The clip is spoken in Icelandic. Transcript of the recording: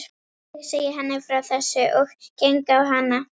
Ég segi henni frá þessu og geng á hana.